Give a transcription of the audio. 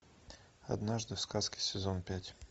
однажды в сказке сезон пять